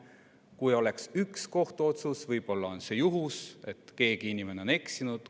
Kui oleks üks kohtuotsus, oleks see võib-olla juhus, keegi on ehk eksinud.